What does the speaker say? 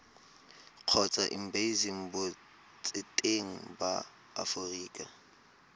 kgotsa embasing botseteng ba aforika